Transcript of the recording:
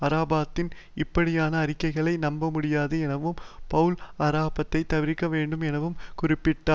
அரபாத்தின் இப்படியான அறிக்கைகளை நம்பமுடியாது எனவும் பெளல் அரபாத்தை தவிர்க்கவேண்டும் எனவும் குறிப்பிட்டனர்